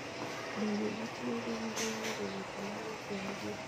Bende gitiyo gi gige winjo weche mawuok e redio.